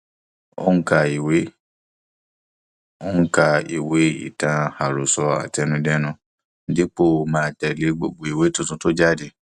ó ń ka ìwé ń ka ìwé ìtàn àròsọ àtẹnudẹnu dípò máa tẹlé gbogbo ìwé tuntun tó jáde